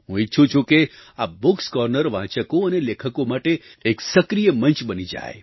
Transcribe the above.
હું ઈચ્છું છું કે આ bookએસ કોર્નર વાચકો અને લેખકો માટે એક સક્રિય મંચ બની જાય